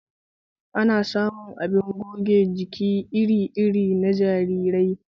Ana samun abin goge jiki iri iri na jarirai